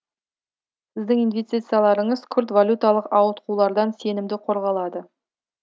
сіздің инвестицияларыңыз күрт валюталық ауытқулардан сенімді қорғалады